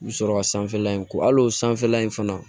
Sɔrɔ ka sanfɛla in ko hal'o sanfɛla in fana